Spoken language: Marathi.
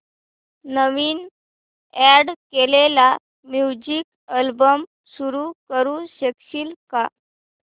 नवीन अॅड केलेला म्युझिक अल्बम सुरू करू शकशील का